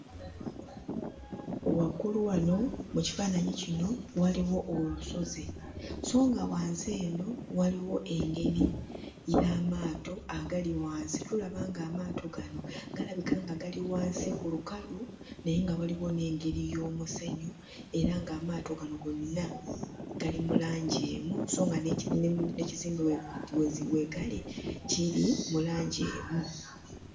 Waggulu wano mu kifaananyi kino waliwo olusozi so nga wansi eno waliwo engeri y'amaato agali wansi. Tulaba ng'amaato gano galabika nga gali wansi ku lukalu naye nga waliwo n'engeri y'omusenyu era ng'amaato gano gonna gali mu langi emu so nga n'ekimu ne n'ekizimbe we zi we gali kiri mu langi emu.